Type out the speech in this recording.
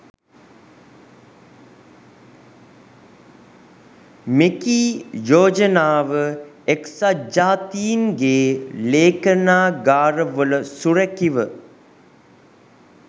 මෙකී යෝජනාව එක්සත් ජාතීන්ගේ ‍ලේඛනාගාරවල සුරැකිව